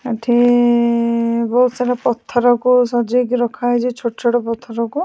ଏଠି ବହୁତ୍ ସାରା ପଥରକୁ ସଜେଇକି ରଖାଯାଇଛି ଛୋଟ ଛୋଟ ପଥରକୁ।